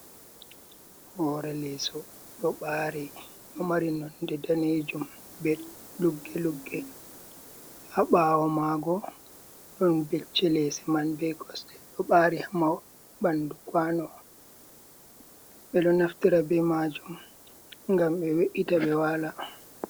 Hore leso ɗo ɓari ɗo mari nonde danejum be luggelugge ha ɓawo mago, ɗon becce lese man be gosɗe ɗo ɓari hamahol ɓandu kwano, ɓeɗo naftira be majum ngam ɓe we’ita ɓe wala.